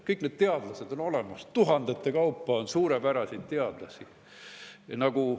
Kõik need teadlased on olemas, tuhandete kaupa on suurepäraseid teadlasi.